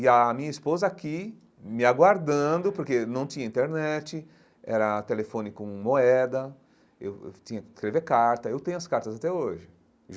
E a minha esposa aqui, me aguardando, porque não tinha internet, era telefone com moeda, eu eu tinha que escrever carta, eu tenho as cartas até hoje.